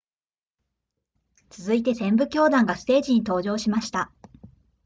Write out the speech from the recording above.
続いて旋舞教団がステージに登場しました